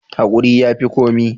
Hakuri ya fi komi.